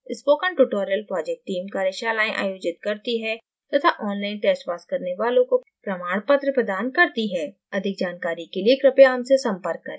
spoken tutorial team कार्यशालाएं आयोजित करती है तथा online test पास करने वालों को प्रमाण पत्र प्रदान करती है अधिक जानकारी के लिए कृपया हमसे संपर्क करें